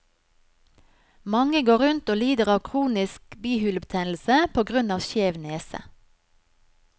Mange går rundt og lider av kronisk bihulebetennelse på grunn av skjev nese.